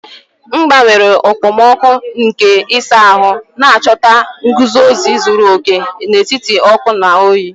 M gbanwere okpomọkụ nke ịsa ahụ, na-achọta nguzozi zuru oke n'etiti ọkụ na oyi.